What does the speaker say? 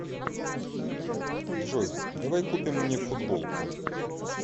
джой давай купим мне футболку